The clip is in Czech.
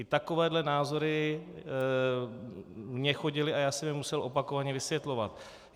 I takovéhle názory mi chodily a já jsem je musel opakovaně vysvětlovat.